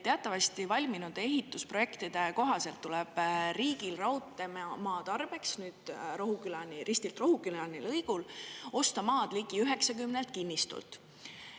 Teatavasti valminud ehitusprojektide kohaselt tuleb riigil raudteemaa tarbeks Rohukülani, Ristilt Rohukülani lõigul osta maad ligi 90 kinnistult.